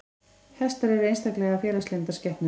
Hestar eru einstaklega félagslyndar skepnur.